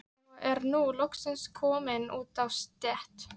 Og er nú loksins kominn út á stétt.